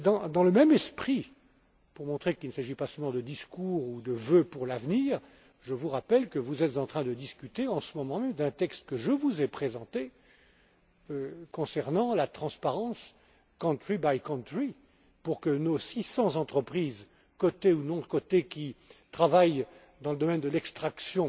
Dans le même esprit, pour montrer qu'il ne s'agit pas seulement de discours ou de vœux pieux pour l'avenir, je vous rappelle que vous êtes en train de discuter en ce moment même d'un texte que je vous ai présenté, concernant la transparence country by country dont l'objectif est que nos 600 entreprises cotées ou non cotées qui travaillent dans le domaine de l'extraction